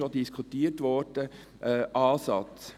Er wurde bereits diskutiert.